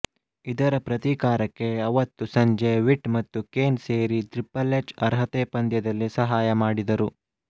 ಇದರ ಪ್ರತೀಕಾರಗೆ ಅವತ್ತು ಸಂಜೆ ವಿಟ್ ಮತ್ತು ಕೇನ್ ಸೇರಿ ಟ್ರಿಪೆಲ್ ಎಚ್ ಅರ್ಹತೆ ಪಂದ್ಯದಲ್ಲಿ ಸಹಾಯಮಾಡಿದರು